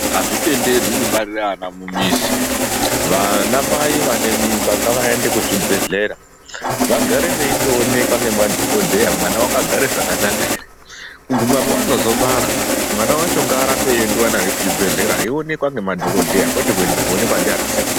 Azvitenderwi kubarire ana mumizi. Vana mai vane mimba ngavaende kuzvibhedhlera vagare veitooneka ngemadhokodheya mwana wakagara zvakanaka ere? Kuguma pevanozobara mwana wacho ngaarambe eiendewa naye kuchibhedhlera eionekwa ngemadhokodheya kwete kuenda kooneka ndiana sekuru.